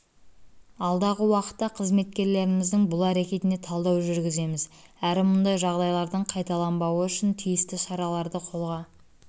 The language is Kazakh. алдағы уақытта қызметкерлеріміздің бұл әрекетіне талдау жүргіземіз әрі мұндай жағдайлардың қайталанбауы үшін тиісті шараларды қолға